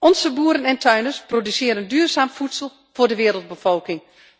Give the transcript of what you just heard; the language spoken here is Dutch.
Onze boeren en tuinders produceren duurzaam voedsel voor de wereldbevolking.